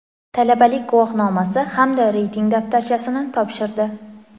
talabalik guvohnomasi hamda reyting daftarchasini topshirdi.